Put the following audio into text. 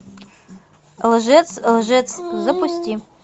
лжец лжец запусти